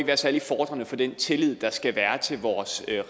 være særlig befordrende for den tillid der skal være til vores